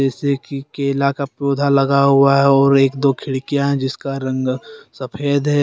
जैसे कि केला का पौधा लगा हुआ है और एक दो खिड़कियां हैं जिसका रंग सफेद है।